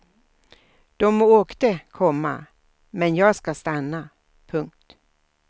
Dom åkte, komma men jag ska stanna. punkt